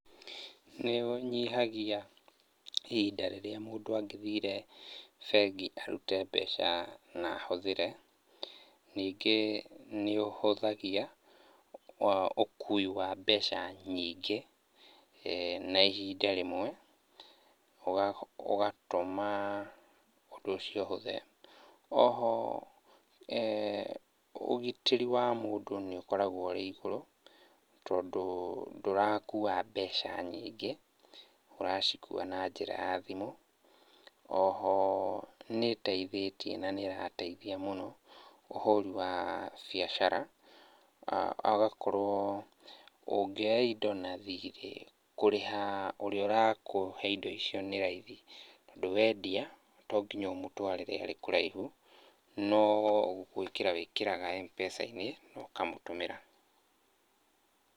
Nĩ ũnyihagia ihinda rĩrĩa mũndũ angĩthire bengi arute mbeca na ahũthĩre. Ningĩ nĩ ũhũthagia ũkuui wa mbeca nyingĩ na ihinda rĩmwe, ũgatũma ũndũ ũcio ũhũthe. O ho eeh ũgitĩri wa mũndũ nĩ ũkoragwo ũrĩ igũrũ, tondũ ndũrakua mbeca nyingĩ, ũracikua na njĩra ya thimu. O ho nĩteithĩtie na nĩ ĩrateithia mũno ũhũri wa biacara. Hagakorwo ũngioya indo na thirĩ, kũrĩha ũria ũrakũhe indo icio nĩ raithi, tondũ wendia to nginya ũmutwarĩre arĩ kũraihu, no gwĩkĩra wĩkĩraga mpesa-inĩ na ũkamũtũmira.